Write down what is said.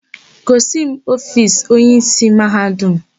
Gosi m ofiisi onyeísí Mahadum!